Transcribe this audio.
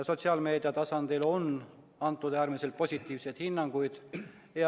Sotsiaalmeedia tasandil on antud äärmiselt positiivseid hinnanguid.